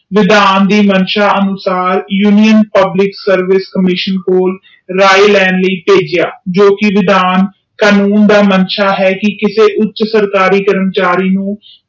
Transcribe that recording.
ਵਿਧਾਨ ਦੇ ਮੰਸ਼ਾ ਅਨੁਸਾਰ ਰਾਏ ਲੈਣ ਲਾਇ ਪੇਜਿਯਾ ਕਿਉਕਿ ਵਿਧਾਨ ਕਾਨੂੰਨ ਦਾ ਮਾਨਸਾ ਹੈ ਕਿਸੇ ਉੱਚ ਕਰਮਚਾਰੀ ਨੂੰ